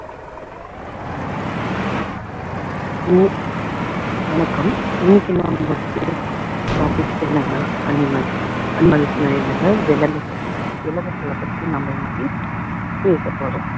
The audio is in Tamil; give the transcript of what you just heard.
இ~ வணக்கம் இன்னைக்கு நாம பேசப்போற topic என்னன்னா animals animals னா என்னங்க விலங்குகள் விலங்குகளை பத்தி நாம இன்னைக்கு பேசப்போறோம்